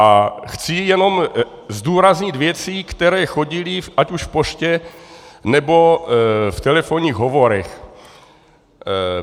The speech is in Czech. A chci jenom zdůraznit věci, které chodily ať už v poště, nebo v telefonních hovorech.